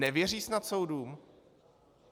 Nevěří snad soudům?